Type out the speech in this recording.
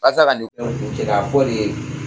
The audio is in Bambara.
Walasa ka nin ko ninnu cɛ ka fɔ de